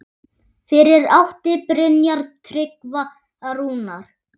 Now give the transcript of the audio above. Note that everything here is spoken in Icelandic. Fyrir átti Brynjar Tryggva Rúnar.